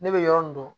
Ne bɛ yɔrɔ min dɔn